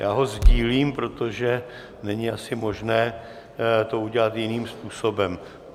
Já ho sdílím, protože není asi možné to udělat jiným způsobem.